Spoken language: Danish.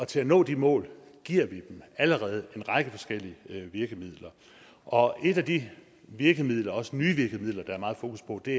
til at nå de mål giver vi dem allerede en række forskellige virkemidler og et af de virkemidler også nye virkemidler der er meget fokus på er det